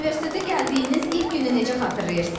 Universitetə gəldiyiniz ilk günü necə xatırlayırsız?